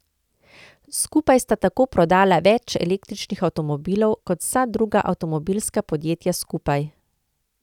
Skupaj sta tako prodala več električnih avtomobilov kot vsa druga avtomobilska podjetja skupaj.